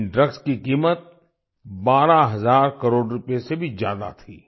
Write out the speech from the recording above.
इन drugs की कीमत 12000 करोड़ रुपये से भी ज्यादा थी